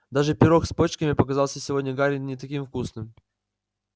даже пирог с почками показался сегодня гарри не таким вкусным